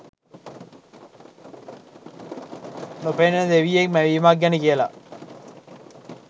නොපෙනෙන දෙවියෙක් මැවීමක් ගැන කියලා